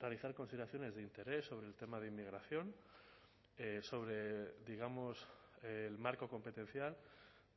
realizar consideraciones de interés sobre el tema de inmigración sobre digamos el marco competencial